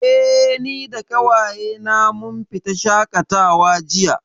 Eh, ni da ƙawaye na mun fita shaƙatawa jiya